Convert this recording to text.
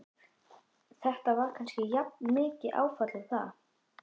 Þetta var kannski jafnmikið áfall og það.